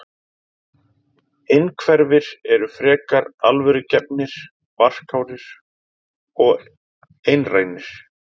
Innhverfir eru frekar alvörugefnir, varkárir og einrænir.